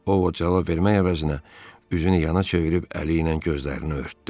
O, cavab vermək əvəzinə, üzünü yana çevirib əli ilə gözlərini örtdü.